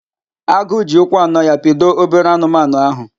Agụ ji ụkwụ anọ ya pido obere anụmanụ ahụ.